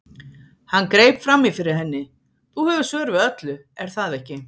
Hann greip fram í fyrir henni: Þú hefur svör við öllu, er það ekki?